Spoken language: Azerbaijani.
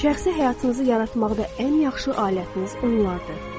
Şəxsi həyatınızı yaratmaqda ən yaxşı alətiniz onlardır.